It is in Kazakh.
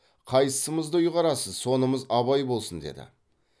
қайсымызды ұйғарасыз сонымыз абай болсын деді